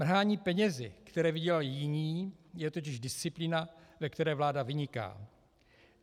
Mrhání penězi, které vydělali jiní, je totiž disciplína, ve které vláda vyniká.